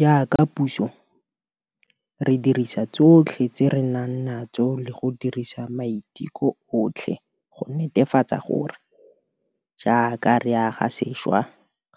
Jaaka puso, re dirisa tsotlhe tse re nang natso le go dirisa maiteko otlhe go netefatsa gore, jaaka re aga sešwa,